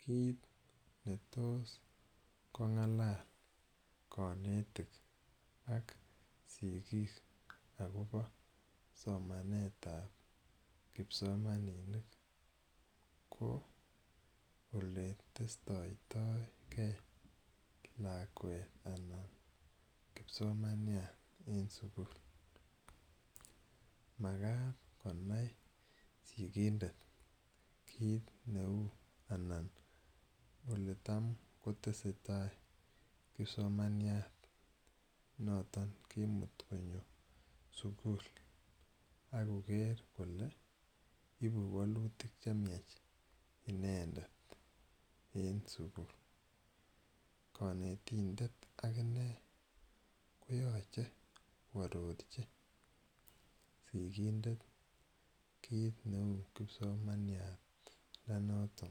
Kiit ne tos ko ng'alal kanetik ak sikiik akopa somanet ap kipsomaninik ko ole testatitai ge lakwet anan kipsomaniat en sukul. Makat konai sikindet kiit neu anan ole tam kotese tai kipsomaniat noton kemutu konyo sukul ak koker kole ipu walutik che miach inendet en sukul. Kanetindet akine koyache koarorchi sikindet kiit neu kipsomaniat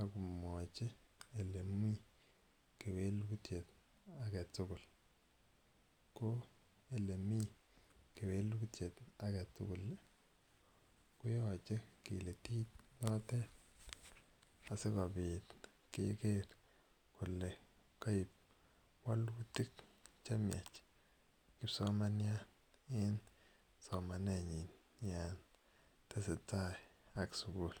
ako mwachi ole mi kewelutiet age tugul. Ko ole mi kewelutiet age tugul ko yache kilitit notet asikopit keker kole kaip walutik che miach kipsomaniat en somanenyin yan tese tai ak sukul.